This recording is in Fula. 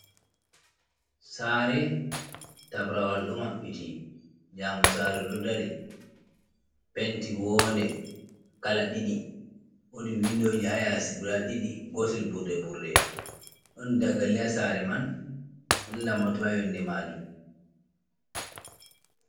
Saare, tabrawal ɗo maɓɓiti, jaamu saare ɗo dari, penti wonnde kala ɗiɗi, wodi windoji haa yasi guda ɗiɗi, gotel burɗe-burɗe ɗon dakali haa saare man, ɗon lambatu haa yonde maajum.